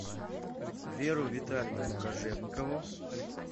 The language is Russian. веру витальевну кожевникову